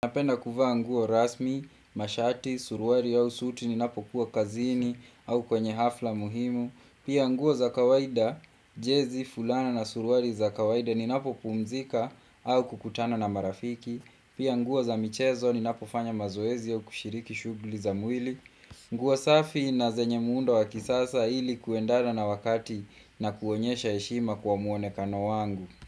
Napenda kuvaa nguo rasmi, mashati, suruali au suti ninapokuwa kazini au kwenye hafla muhimu. Pia nguo za kawaida, jezi, fulana na suruali za kawaida ninapopumzika au kukutana na marafiki. Pia nguo za michezo ninapofanya mazoezi au kushiriki shughuli za mwili. Nguo safi na zenye muundo wa kisasa ili kuendana na wakati na kuonyesha heshima kwa muonekano wangu.